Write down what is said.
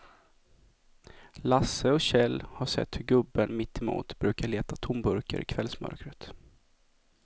Lasse och Kjell har sett hur gubben mittemot brukar leta tomburkar i kvällsmörkret.